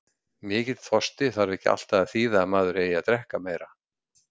Mikill þorsti þarf ekki alltaf að þýða að maður eigi að drekka meira.